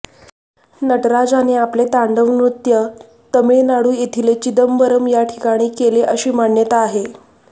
नटराजाने आपले तांडव नृत्य तमिळनाडु येथील चिदंबरम या ठिकाणी केले अशी मान्यता आहे